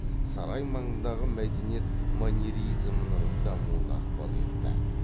сарай маңындағы мәдениет маньеризмнің дамуына ықпал етті